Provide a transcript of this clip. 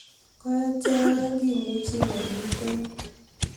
ko achek aeng' kimuchi kemuiten